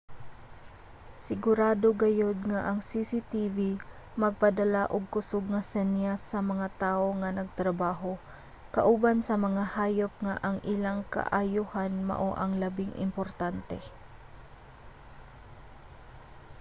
"sigurado gayud nga ang cctv magpadala og kusug nga senyas sa mga tawo nga nagtrabaho kauban sa mga hayop nga ang ilang kaayohan mao ang labing importante.